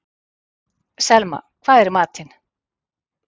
Selma, hvað er í matinn?